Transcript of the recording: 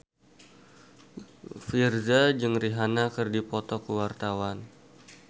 Virzha jeung Rihanna keur dipoto ku wartawan